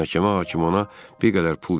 Məhkəmə hakimi ona bir qədər pul verir.